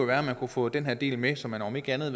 være at man kunne få den her del med så man om ikke andet